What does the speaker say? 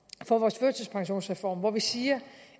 vores førtidspensionsreform hvor vi siger